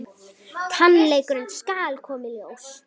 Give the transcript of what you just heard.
Sannleikurinn skal koma í ljós.